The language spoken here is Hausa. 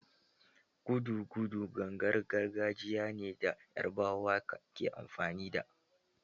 Gudugudu gangar gargajiya ne da yarbawa ke amfani da